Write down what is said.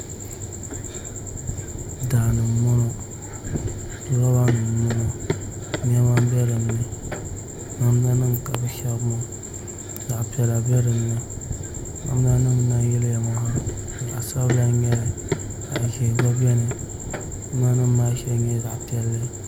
Daani n bɔŋɔ roba nim n bɔŋɔ niɛma n bɛ dinni namda nim ka bi shɛbi maa zaɣ piɛla bɛ dinni namda nim n lahi yiliya ŋɔ zaɣ sabila n nyɛli zaɣ ʒiɛ gba biɛni namda nim maa shɛli nyɛla zaɣ piɛlli